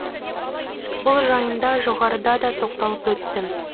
бұл жайында жоғарыда да тоқталып өттім